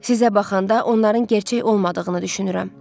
Sizə baxanda onların gerçək olmadığını düşünürəm.